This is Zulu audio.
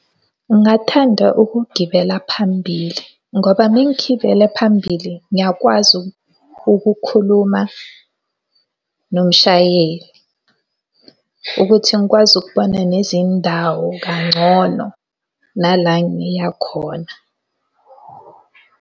Ngingathanda ukugibela phambili, ngoba uma ngigibela phambili ngiyakwazi ukukhuluma nomshayeli. Ukuthi ngikwazi ukubona nezindawo kangcono nala ngiya khona.